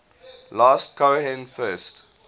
last cohen first